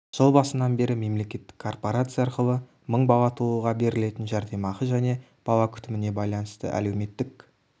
жыл басынан бері мемлекеттік корпорация арқылы мың бала тууға берілетін жәрдемақы және бала күтіміне байланысты әлеуметтік